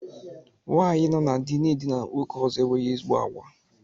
Nwaanyi nọ na dị na-edina nwoke ọzọ enweghị ezigbo àgwà.